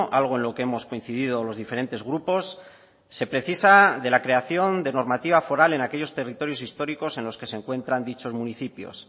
algo en lo que hemos coincidido los diferentes grupos se precisa de la creación de normativa foral en aquellos territorios históricos en los que se encuentran dichos municipios